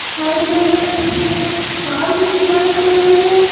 Side में हमें एक कार भी दिखाई दे रही है।